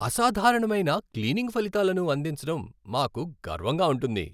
అసాధారణమైన క్లీనింగ్ ఫలితాలను అందించడం మాకు గర్వంగా ఉంటుంది.